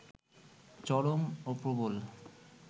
চরম ও প্রবল